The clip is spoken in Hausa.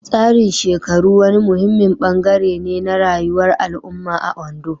Tsarin shekaru wani muhimmin ɓangare ne na rayuwar al'umma a Ondo.